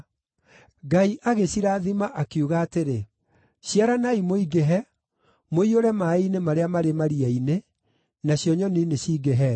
Ngai agĩcirathima akiuga atĩrĩ, “Ciaranai mũingĩhe, mũiyũre maaĩ-inĩ marĩa marĩ maria-inĩ, nacio nyoni nĩcingĩhe thĩ.”